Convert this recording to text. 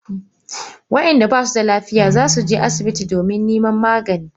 Wa inda basu da lafiya zasu je asibiti domin neman magani.